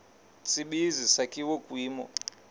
tsibizi sakhiwa kwimo